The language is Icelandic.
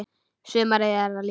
Sumarið er að líða.